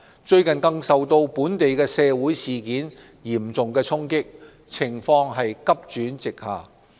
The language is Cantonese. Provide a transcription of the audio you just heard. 最近更受到本地社會事件嚴重衝擊，情況急轉直下。